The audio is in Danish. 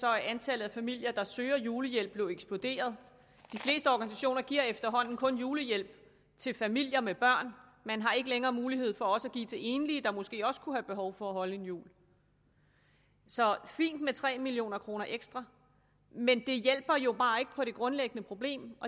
er antallet af familier der søger julehjælp jo eksploderet de fleste organisationer giver efterhånden kun julehjælp til familier med børn man har ikke længere mulighed for også at give til enlige der måske også kunne have behov for at holde en jul så fint med tre million kroner ekstra men det hjælper jo bare ikke på det grundlæggende problem